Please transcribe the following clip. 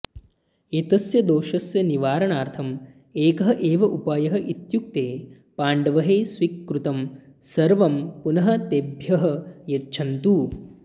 एतस्य दोषस्य निवारणार्थम् एकः एव उपायः इत्युक्ते पाण्डवैः स्वीकृतं सर्वं पुनः तेभ्यः यच्छन्तु